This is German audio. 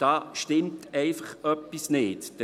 Da stimmt einfach etwas nicht.